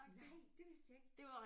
Nej det vidste jeg ikke